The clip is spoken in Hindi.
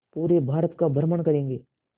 पूरे भारत का भ्रमण करेंगे